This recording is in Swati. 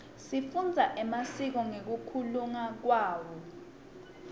sifundza emasiko ngekunluka kwawo